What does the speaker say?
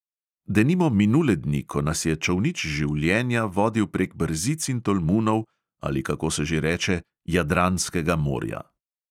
Denimo minule dni, ko nas je čolnič življenja vodil prek brzic in tolmunov, ali kako se že reče, jadranskega morja.